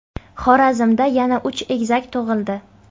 Xorazmda yana uch egizak tug‘ildi .